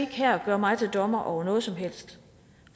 her gøre mig til dommer over noget som helst